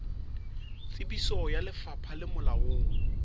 tsebiso ya lefapha le molaong